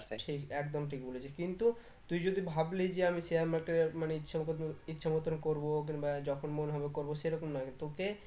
তা সেই একদম ঠিক বলেছিস কিন্তু তুই যদি ভাবলি যে আমি share market এ মানে ইচ্ছে মতো ইচ্ছে মতন করবো কিংবা যখন মন হবে করবো সেরকম নয় তোকে